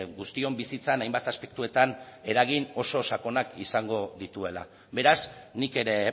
guztion bizitzan hainbat aspektuetan eragin oso sakonak izango dituela beraz nik ere